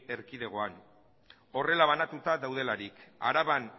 erkidegoan horrela banatuta daudelarik araban